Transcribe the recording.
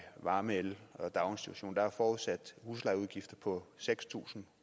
varme el og daginstitution og der er forudsat huslejeudgifter på seks tusind